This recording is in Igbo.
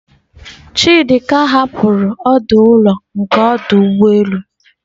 Chidi ka hapụrụ ọdụ ụlọ nke ọdụ ụgbọ elu.